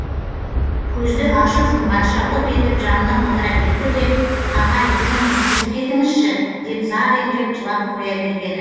көзді ашып жұмғанша лып етіп жанына отыра кетті де ағай жүріңіз жүріп кетіңізші деп зар еңіреп жылап қоя бергені